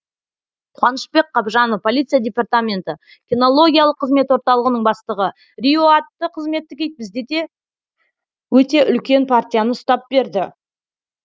қуанышбек қабжанов полиция департаменті кинологиялық қызмет орталығының бастығы рио атты қызметтік ит бізде де өте үлкен партияны ұстап берді